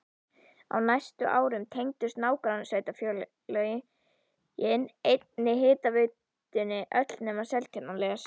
Á næstu árum tengdust nágrannasveitarfélögin einnig hitaveitunni öll nema Seltjarnarnes.